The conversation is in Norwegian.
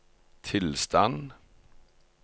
tilstand